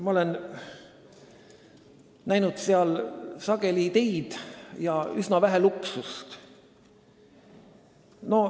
Ma olen näinud seal sageli ideid ja üsna vähe luksust.